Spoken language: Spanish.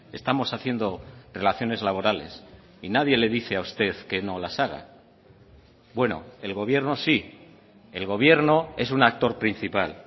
estamos haciendo relaciones laborales y nadie le dice a usted que no las haga bueno el gobierno sí el gobierno es un actor principal